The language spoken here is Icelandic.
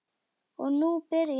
Og nú byrjaði hún.